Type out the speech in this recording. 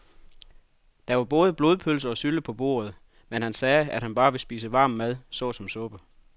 Der var både blodpølse og sylte på bordet, men han sagde, at han bare ville spise varm mad såsom suppe.